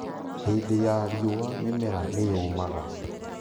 Hĩndĩ ya riũa mĩmera nĩyũmaga